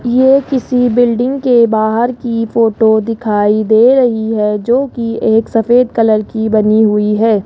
ये किसी बिल्डिंग के बाहर की फोटो दिखाई दे रही है जो की एक सफेद कलर की बनी हुई है।